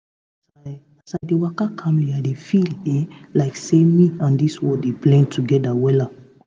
as i as i dey waka calmly i dey feel eh like say me and this world dey blend together wella